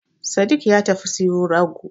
Sadik ya tafi siyo rago